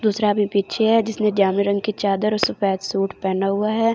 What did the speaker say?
दूसरा अभी पीछे है जिसने जामनी रंग की चादर और सफेद सूट पहना हुआ है।